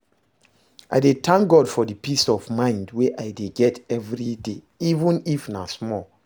I dey tank God for di peace of mind wey I dey get evriday even if na small